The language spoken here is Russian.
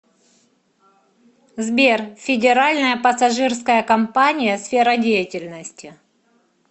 сбер федеральная пассажирская компания сфера деятельности